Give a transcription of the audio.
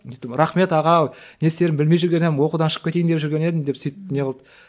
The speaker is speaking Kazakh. рахмет аға не істерімді білмей жүрген едім оқудан шығып кетейін деп жүрген едім сөйтіп не қылды